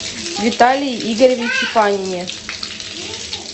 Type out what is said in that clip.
виталии игоревиче панине